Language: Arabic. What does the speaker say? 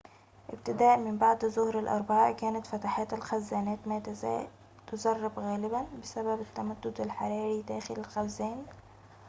ابتداءً من بعد ظهر الأربعاء كانت فتحات الخزانات ما تزال تسرب غالباً بسبب التمدد الحراري داخل الخزان